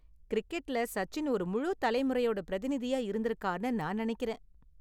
கிரிக்கெட்ல சச்சின் ஒரு முழு தலைமுறையோட பிரதிநிதியா இருந்திருக்கார்னு நான் நெனைக்கிறேன்.